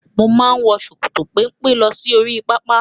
Mo máa wọ ṣòkòtò pẹ́mpẹ́ lọ sí oríi pápá.